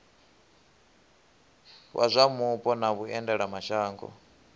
wa zwa mupo na vhuendelamashango